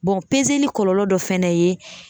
kɔlɔlɔ dɔ fɛnɛ ye